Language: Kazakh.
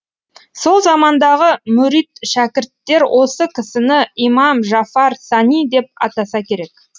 сол замандағы мүрит шәкірттер осы кісіні имам жафар сани деп атаса керек